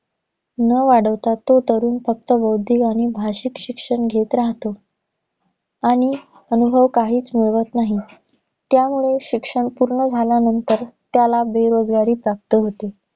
न वाढवता तो तरुण फक्त बौद्धिक आणि भाषिक शिक्षण घेत राहतो. आणि अनुभव काहीच मिळवत नाही. त्यामुळे शिक्षण पूर्ण झाल्यानंतर, त्याला बेरोजगारी प्राप्त होते.